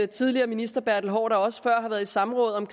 tidligere minister bertel haarder også før har været i samråd om